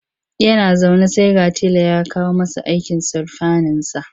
Yana zaune sai ga tela ya kawo masa aikin surfaninsa.